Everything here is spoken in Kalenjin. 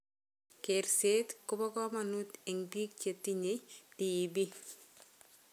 Kerseet kobo komonuut eng' biik chetinye DEB